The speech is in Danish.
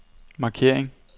markering